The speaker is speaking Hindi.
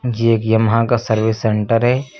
यह एक यामाहा का सर्विस सेंटर है।